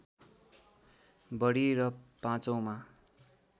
बढी र पाँचौँमा